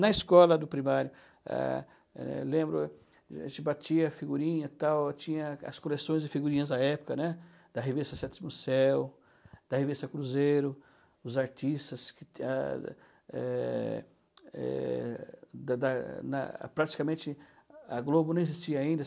Na escola do primário, ah eh lembro, a gente batia figurinha, tinha as coleções de figurinhas da época, né, da revista Sétimo Céu, da revista Cruzeiro, os artistas que, ah eh eh, da da na, praticamente, a Globo não existia ainda